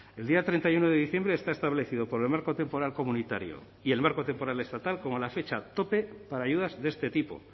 el día treinta y uno de diciembre está establecido por el marco temporal comunitario y el marco temporal estatal como la fecha tope para ayudas de este tipo